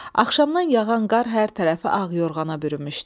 Axşamdan yağan qar hər tərəfi ağ yorğana bürümüşdü.